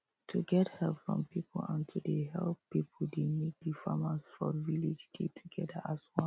to get help from people and to dey help people dey make the farmers for village dey together as one